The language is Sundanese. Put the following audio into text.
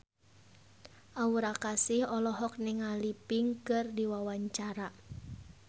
Aura Kasih olohok ningali Pink keur diwawancara